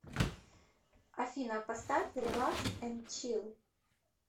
афина поставь релакс энд чил